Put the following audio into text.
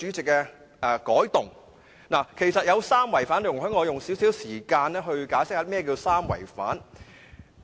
這項修訂其實有三違反，容許我花少許時間解釋甚麼是三違反。